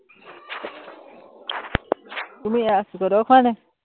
তুমি ইয়াৰ খোৱা নি